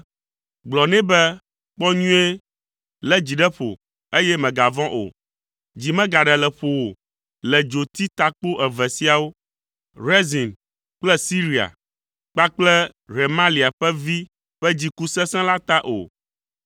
Gblɔ nɛ be, ‘Kpɔ nyuie, lé dzi ɖe ƒo, eye mègavɔ̃ o. Dzi megaɖe le ƒo wò le dzoti takpo eve siawo, Rezin kple Siria kpakple Remalia ƒe vi ƒe dziku sesẽ la ta o.